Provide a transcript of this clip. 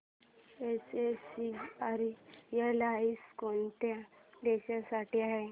SAS airlines कोणत्या देशांसाठी आहे